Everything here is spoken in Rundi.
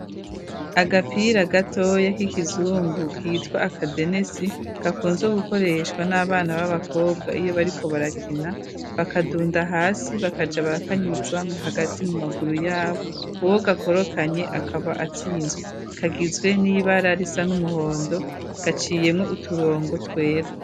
Agapira gato ya k'ikizungu kitwa aka denesi gakunzwe gukoreshwa n'abana b'abakobwa iyo bariko barakina bakadunda hasi bakaja barakanyuza mu hagati mu maguru yabo uwo gakorokanye akaba atsinzwe kagizwe n'ibara risa n'umuhondo gaciyemwo uturongo twera.